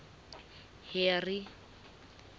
harry